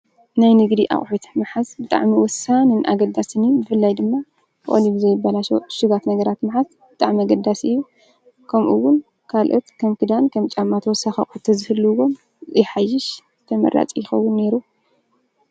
ናይ ንጊዲ ኣቝሒትሕ መሓዝ ብጥዕ ሚ ወሳን እንኣገዳስኒ ብላይ ድማ ኦሊብዘይ በላሸው ሽጓት ነገራት ምሓዝ ብጣዕመ ኣገዳስይብ ከምኡውን ካልኦት ከም ክዳን ከም ጫማትወሰኸቑተ ዘህልውዎም ይሓይሽ ተመራጺ ይኸውን ነይሩ።